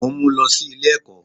Mò n mú lọ sí Ilé èkó